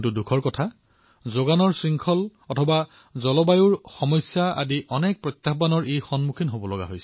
কিন্তু দুখৰ কথা এয়েই যে যোগান শৃংখল বতৰৰ দুৰৱস্থাৰ দৰে অনেক প্ৰত্যাহ্বান ইয়াত আহি পৰে